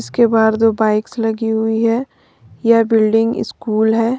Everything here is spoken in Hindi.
उसके बाहर दो बाइक्स लगी हुई है यह बिल्डिंग स्कूल है।